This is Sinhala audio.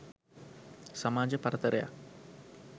සමාජ පරතරයක්